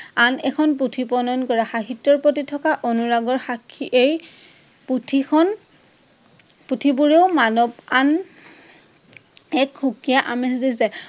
আন এখন পুথি প্ৰনয়ন কৰে। সাহিত্যৰ প্ৰতি থকা অনুৰাগৰ সাক্ষী এই পুথিখন পুথিবোৰেও মানৱ আন এক সুকীয়া আঁমেজ দি যায়।